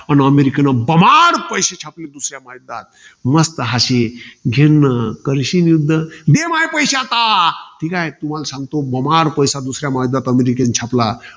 अन अमेरिकेने बमाड पैसे छापले, दुसऱ्या महायुद्धात. मस्त अशे, झेन्न, करशील युध्द? दे माये पैशे आता. तुम्हाला सांगतो. बमाड पैसा अमेरिकेने दुसऱ्या महायुद्धात छापला.